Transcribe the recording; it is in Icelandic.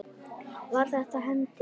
Var þetta hendi?